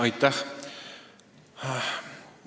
Aitäh!